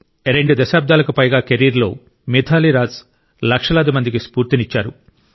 రెండు దశాబ్దాలకు పైగా కెరీర్లో మిథాలీ రాజ్ లక్షలాది మందికి స్ఫూర్తినిచ్చారు